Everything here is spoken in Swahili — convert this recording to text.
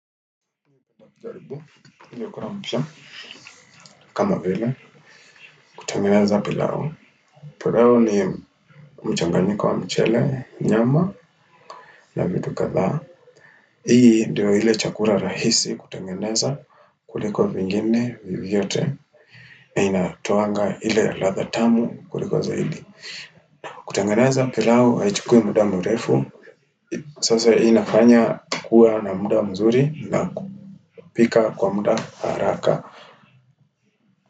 Kama vile kutengeneza pilao. Pilau ni mchanganyiko wa mchele, nyama na vitu kadhaa. Hii ndiyo iile chakula rahisi kutengeneza kuliko vingine vyovyote na inatoanga ile ya ladha tamu kuliko zaidi. Kutengeneza pilau haichukui muda mrefu Sasa hii inafanya kuwa na muda mzuri na kupika kwa muda haraka.